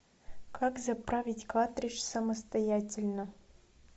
как заправить картридж самостоятельно